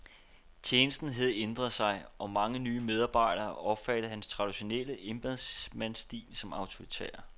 Tjenesten havde ændret sig, og mange nye medarbejdere opfattede hans traditionelle embedsmandsstil som autoritær.